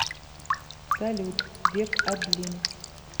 салют век адлин